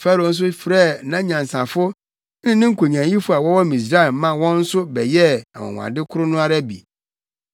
Farao nso frɛɛ nʼanyansafo ne ne nkonyaayifo a wɔwɔ Misraim ma wɔn nso bɛyɛɛ anwonwade koro no ara bi.